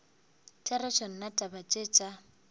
therešo nna taba tše tša